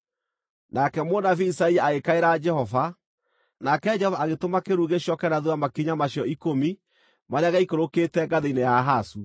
Nake mũnabii Isaia agĩkaĩra Jehova, nake Jehova agĩtũma kĩĩruru gĩcooke na thuutha makinya macio ikũmi marĩa gĩaikũrũkĩte ngathĩ-inĩ ya Ahazu.